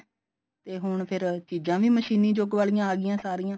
ਤੇ ਫੇਰ ਚੀਜਾਂ ਵੀ ਮਸ਼ੀਨੀ ਯੁੱਗ ਵਾਲੀਆਂ ਆਗੀਆਂ ਸਾਰੀਆਂ